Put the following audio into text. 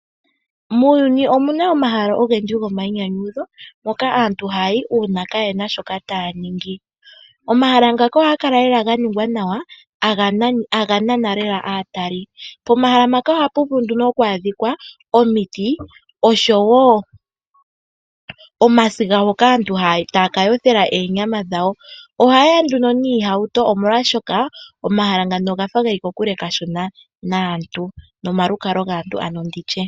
Muuyuni omuna omahala ogendji gomayinyanyudho moka aantu hayayi uuna kayena shoka taya ningi . Omahala ngaka ohaga kala ganingwa nawa taga nana lela aatali. Pomahala mpaka ohapu vulu nduno oku adhika omiti oshowo omasiga mpoka aantu taya kayothela oonyama dhawo. Oha yeya nduno noohauto oshoka omahala ngano ogafa geli kokule kashona nomalukalwa gaantu.